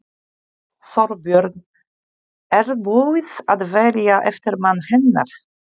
Þorbjörn: Er búið að velja eftirmann hennar?